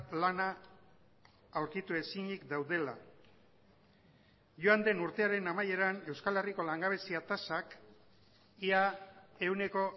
lana aurkitu ezinik daudela joan den urtearen amaieran euskal herriko langabezia tasak ia ehuneko